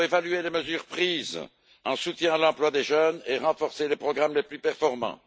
Il faut évaluer les mesures prises en soutien à l'emploi des jeunes et renforcer les programmes les plus performants.